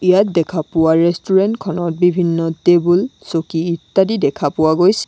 ইয়াত দেখা পোৱা ৰেষ্টুৰেণ্ট খনত বিভিন্ন টেবুল চকী ইত্যাদি দেখা পোৱা গৈছে।